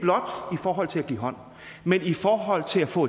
forhold til at give hånd men i forhold til at få